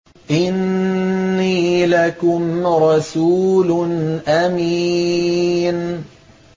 إِنِّي لَكُمْ رَسُولٌ أَمِينٌ